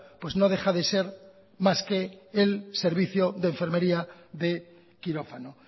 pues no deja de ser más que el servicio de enfermería de quirófano